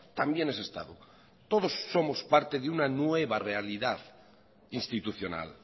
también es estado todos somos parte de una nueva realidad institucional